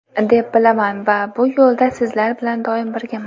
deb bilaman va bu yo‘lda sizlar bilan doim birgaman.